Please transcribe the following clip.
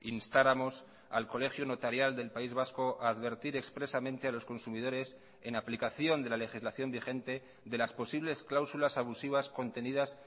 instáramos al colegio notarial del país vasco a advertir expresamente a los consumidores en aplicación de la legislación vigente de las posibles cláusulas abusivas contenidas